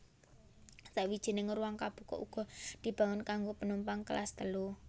Sawijining ruwang kabuka uga dibangun kanggo penumpang Kelas Telu